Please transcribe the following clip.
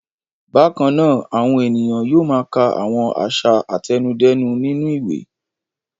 Bákan náà, àwọn ènìyàn yóò máa ka àwọn àṣà àtẹnudẹ́nu nínú ìwé.